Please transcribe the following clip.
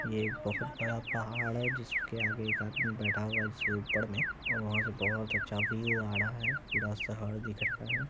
ये एक बहुत बड़ा पहाड़ है जिसके आगे एक आदमी बैठा हुआ है जिसके ऊपर में और वहां से बहुत अच्छा व्यू आ रहा है पूरा शहर दिख रहा है।